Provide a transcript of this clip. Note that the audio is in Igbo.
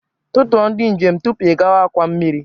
Tutuo ndị njem tupu ị gawa akwa mmiri